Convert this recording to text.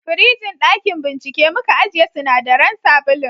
firijin dakin bincike muka ajiye sinadaran sabulun